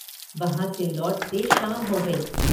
वहाँ से लौटते शाम हो गई।